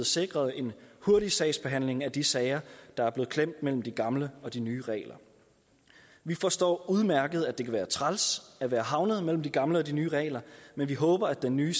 sikret en hurtig sagsbehandling af de sager der er blevet klemt mellem de gamle og de nye regler vi forstår udmærket at det kan være træls at være havnet mellem de gamle og de nye regler men vi håber at den nye